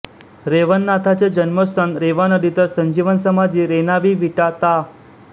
रेवणनाथांचे जन्मस्थान रेवानदी तर संजीवन समाधी रेणावी विटा ता